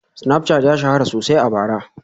Snapchat ya shahara sosai a bara